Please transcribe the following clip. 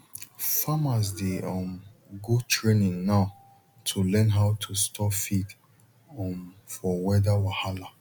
farmers dey um go training now to learn how to store feed um for weather wahala